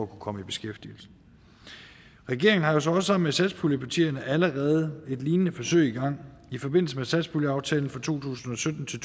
komme i beskæftigelse regeringen har jo så også sammen med satspuljepartierne allerede et lignende forsøg i gang i forbindelse med satspuljeaftalen for to tusind og sytten til